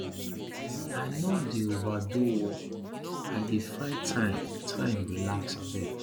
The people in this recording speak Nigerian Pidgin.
i no dey overdo work i dey find time time relax abeg